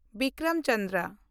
Bikram Chandra